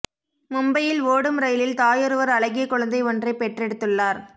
மும்பையில் ஓடும் ரயிலில் தாயொருவர் அழகிய குழந்தை ஒன்றைப் பெற்றெடுத்துள்ளார்